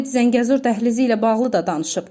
Prezident Zəngəzur dəhlizi ilə bağlı da danışıb.